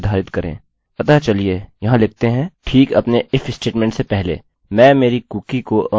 अतः चलिए यहाँ लिखते हैं ठीक अपने if स्टेटमेंटstatement से पहले मैं मेरी कुकीcookie को अनिर्धारित करना चाहता हूँ